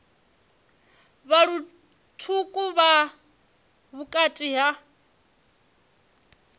vha lutswuku vha vhukati ha